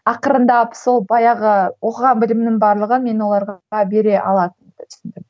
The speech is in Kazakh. ақырындап сол баяғы оқыған білімнің барлығын мен оларға бере алатынымды түсіндім